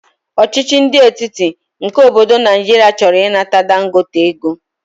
ọchịchị ndi etiti nke obodo Naijiria choro inata Dangote ego.